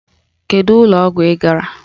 Kedu ụlọ ọgwụ ị gara!